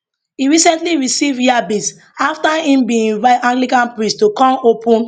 e recently receive yabis afta im bin invite anglican priest to come open